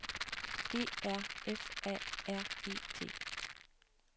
E R F A R E T